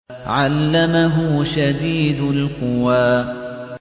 عَلَّمَهُ شَدِيدُ الْقُوَىٰ